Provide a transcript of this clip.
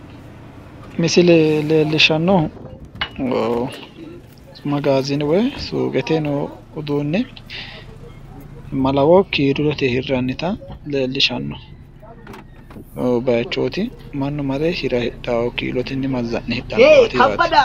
Misile leellishshannohu magaaziine woyi suuqete noo uduunne malawo kiilote hirrannita leellishshano bayichooti mannu mare hira hidhayo kiilote mazza'ne hidhayo yaate.